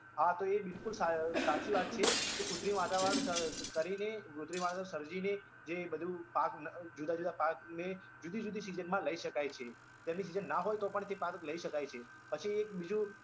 હા તો એ બિલકુલ સા સાચી વાત છે કે કુત્રિમ વાતાવરણ સર કરીને કુત્રિમ વાતાવરણ સર્જીને જે બધું પાક જુદા જુદા પાકને જુદી જુદી season માં લઇ શકાય છે, તેમની season ના હોય તોપણ તે પાક લઇ શકાય છે પછી એક બીજું